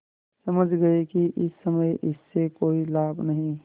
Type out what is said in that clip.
समझ गये कि इस समय इससे कोई लाभ नहीं